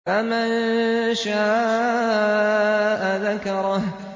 فَمَن شَاءَ ذَكَرَهُ